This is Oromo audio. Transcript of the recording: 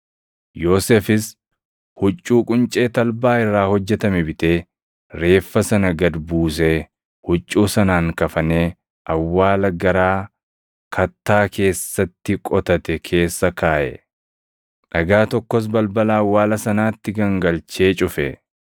Yoosefis huccuu quncee talbaa irraa hojjetame bitee, reeffa sana gad buusee, huccuu sanaan kafanee awwaala garaa kattaa keessatti qotate keessa kaaʼe. Dhagaa tokkos balbala awwaala sanaatti gangalchee cufe.